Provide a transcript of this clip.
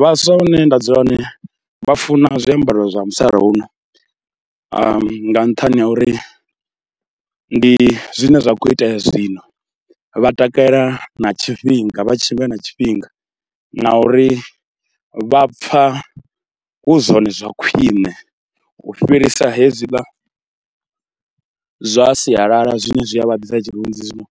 Vhaswa hune nda dzula hone vha funa zwiambaro zwa musalauno nga nṱhani ha uri ndi zwine zwa khou itea zwino, vha takalela na tshifhinga vha tshimbila na tshifhinga, na uri vha pfha hu zwone zwa khwiṋe u fhirisa hezwiḽa zwa sialala zwine zwi a vha ḓisa tshirunzi. Zwino